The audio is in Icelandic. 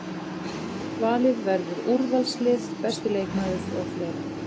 Valið verður úrvalslið, besti leikmaður og fleira.